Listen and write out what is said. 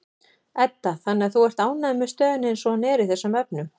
Edda: Þannig að þú ert ánægður með stöðuna eins og hún er í þessum efnum?